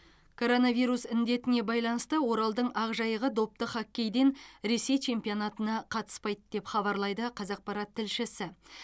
коронавирус індетіне байланысты оралдың ақжайығы допты хоккейден ресей чемпионатына қатыспайды деп хабарлайды қазақпарат тілшісі